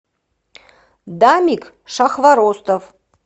дамик шахворостов